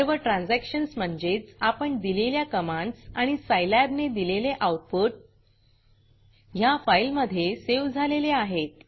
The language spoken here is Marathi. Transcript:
सर्व ट्रान्झॅक्शन्स म्हणजेच आपण दिलेल्या कमांडस आणि Scilabसाईलॅब ने दिलेले आऊटपुट ह्या फाईलमधे सेव्ह झालेले आहेत